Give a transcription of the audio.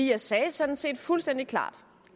jeg sagde sådan set fuldstændig klart